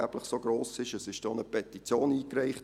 Es wurde auch eine Petition eingereicht.